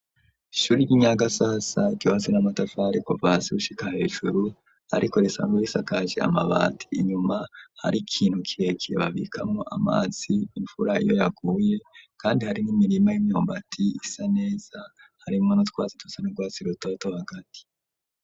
Ishuri, ry'i Nyagasasa, ryubatse n'amatafari kuva hasi, gushika hejuru, ariko, risanzwe risakaje amabati; inyuma, hari ikintu kirekire, babikamwo amazi, imvura iyo, yaguye; kandi hari n'imirima, y'imyumbati, isa neza; harimwo n’utwatsi dusa n’urwatsi rutoto, hagati.